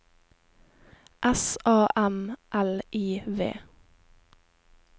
S A M L I V